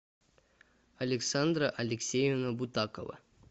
александра алексеевна бутакова